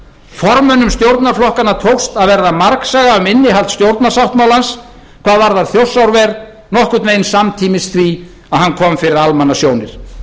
formönnum stjórnarflokkanna tókst að verða margsaga um innihald stjórnarsáttmálans hvað varðar þjórsárver nokkurn veginn samtímis því að hann kom fyrir almannasjónir